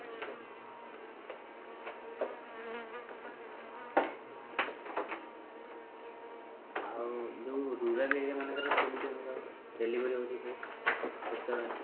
ଆଉ ଯୋଉ rural area ମାନଙ୍କର କେମିତି ଧର delivery ହଉଚି ଯୋଉ ସେତବେଳେ